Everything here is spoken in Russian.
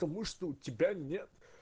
потому что у тебя нет